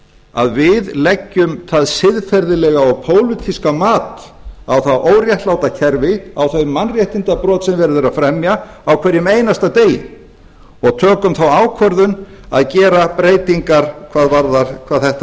að við leggjum það siðferðilega og pólitíska mat á hið óréttláta kerfi á þau mannréttindabrot sem verið er að fremja á hverjum einasta degi og tökum þá ákvörðun að gera breytingar hvað þetta